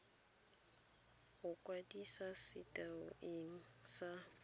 go kwadisa setei ene sa